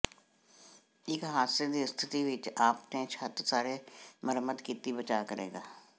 ਇੱਕ ਹਾਦਸੇ ਦੀ ਸਥਿਤੀ ਵਿੱਚ ਆਪਣੇ ਛੱਤ ਸਾਰੇ ਮੁਰੰਮਤ ਕੀਤੀ ਬਚਾ ਕਰੇਗਾ